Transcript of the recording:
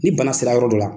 Ni bana sera yɔrɔ dɔ la